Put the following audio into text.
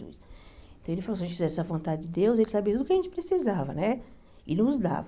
Então ele falou que se a gente tivesse a vontade de Deus, ele sabia tudo o que a gente precisava né e nos dava.